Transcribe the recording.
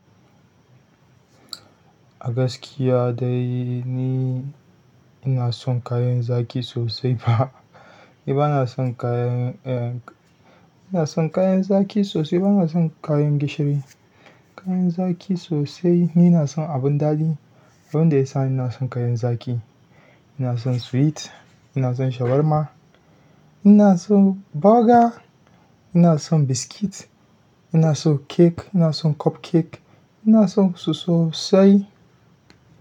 A gaskiya dai ni ina son kayan zaƙi sosai fa. Ni ba na son kayan, eh, ina son kayan zaƙi sosai, ba na son kayan gishiri. Kayan zaƙi sosai. Ni ina son abun daɗi. Abun da ya sa ina son kayan zaƙi. Ina son sweet ina son shawarma ina son burger ina son biscuit ina son cake ina son cupcake ina sonsu sosai.